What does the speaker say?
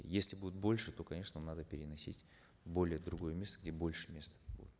если будут больше то конечно надо переносить более в другое место где больше места